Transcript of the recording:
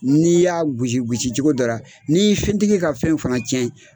N'i y'a gosi gosicogo dɔ ra, n'i fɛn tigi ka fɛn fana tiɲɛ